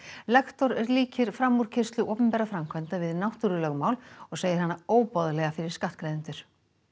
lektor líkir framúrkeyrslu opinberra framkvæmda við náttúrulögmál og segir hana óboðlega fyrir skattgreiðendur